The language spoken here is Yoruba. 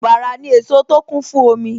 Bàrà ni èso tó kún fún omi